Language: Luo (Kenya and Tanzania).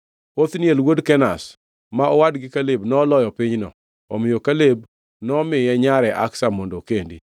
Othniel wuod Kenaz, ma owadgi Kaleb noloyo pinyno, omiyo Kaleb nomiye nyare Aksa mondo okendi.